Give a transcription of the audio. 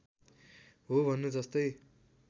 हो भन्नु जस्तै